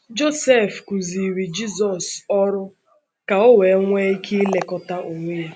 Josef kụziiri Jizọs ọrụ ka o wee nwee ike ilekọta onwe ya.